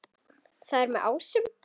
Hvað er með ásum?